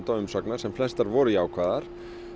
og umsagna sem flestar voru jákvæðar